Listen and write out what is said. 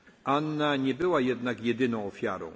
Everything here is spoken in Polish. sprawiedliwości. Anna nie była jednak